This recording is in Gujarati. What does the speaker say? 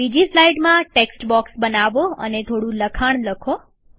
બીજી સ્લાઈડમાં ટેક્સ્ટ બોક્સ બનાવો અને થોડું લખાણ લખો